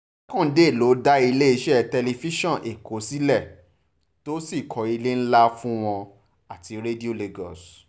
jákàndé ló dá iléeṣẹ́ tẹlifíṣàn èkó sílẹ̀ tó sì kọ́ ilé ńlá fún wọn àti radio lagos